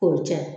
K'o cɛ